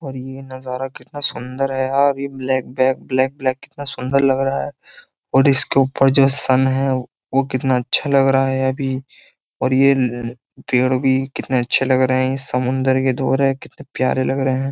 और ये नजारा कितना सुंदर है यार ये ब्लैक बैक ब्लैक ब्लैक कितना सुंदर लग रहा है और इसके ऊपर जो सन है वो कितना अच्छा लग रहा है अभी और ये पेड़ भी कितने अच्छे लग रहे हैं ये समुंदर के धोर है कितने प्यारे लग रहे हैं।